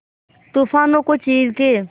तूफानों को चीर के